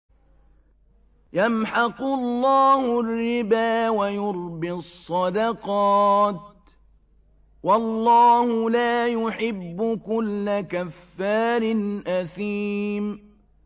يَمْحَقُ اللَّهُ الرِّبَا وَيُرْبِي الصَّدَقَاتِ ۗ وَاللَّهُ لَا يُحِبُّ كُلَّ كَفَّارٍ أَثِيمٍ